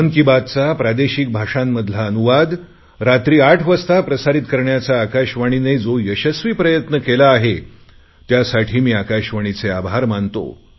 मन की बातचा प्रादेशिक भाषांमधला अनुवाद रात्री आठ वाजता प्रसारित करण्याचा आकाशवाणीने जो यशस्वी प्रयत्न केला आहे त्यासाठी मी आकाशवाणीचे आभार मानतो